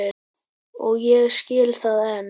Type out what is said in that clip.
Og ég skil það enn.